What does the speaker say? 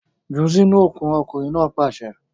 Jù sínú okùn! ọkunrin naa paṣẹ